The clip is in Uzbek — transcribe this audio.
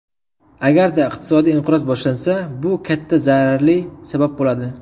Agarda iqtisodiy inqiroz boshlansa, bu katta zararli sabab bo‘ladi.